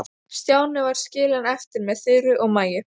Stjáni var skilinn eftir með Þuru og Maju.